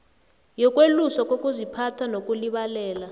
yokweluswa kokuziphatha nokulibalela